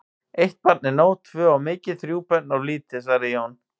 Eitt barn er nóg, tvö of mikið, þrjú börn of lítið, svaraði Jón.